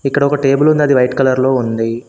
ఇక్కడ ఒక టేబులుంది అది వైట్ కలర్ లో ఉంది.